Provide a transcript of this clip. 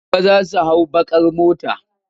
Gobe za su hau baƙ ar motar.